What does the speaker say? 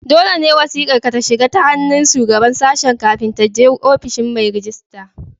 Dole ne wasiƙar ka ta shiga ta hannun Shugaban Sashen kafin ta je ofishin mai rejista.